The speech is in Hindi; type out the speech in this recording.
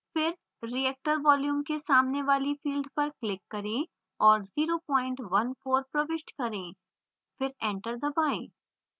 फिर reactor volume के सामने वाली field पर click करें और 014 प्रविष्ट करें